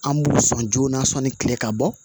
An b'u sɔn joona sɔn ni kile ka bɔ